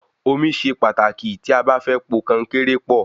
Omi ṣe pàtàkì tí a bá fẹ́ po konkéré pọ̀